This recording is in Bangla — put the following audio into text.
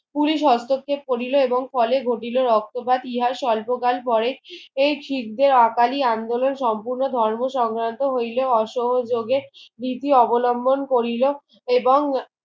পুলিশ হস্তক্ষেপ করিল এবং ফলে ঘটিল রক্ত বা টিয়ার স্বল্পগাল পরে এই খিরদের অকালি আন্দোলন সম্পূর্ণ ধর্ম সংগ্ৰান্ত হইলে অসহযোগের নীতি অবলম্বন করিল এবং